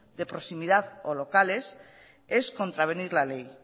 de proximidad o locales es contravenir la ley